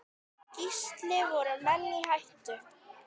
Gísli: Voru menn í hættu?